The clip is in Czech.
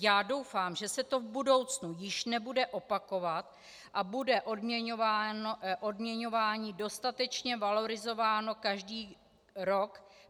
Já doufám, že se to v budoucnu již nebude opakovat a bude odměňování dostatečně valorizováno každý rok.